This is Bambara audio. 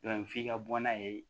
f'i ka bɔ n'a ye